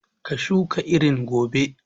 Ka shuka irin gobe!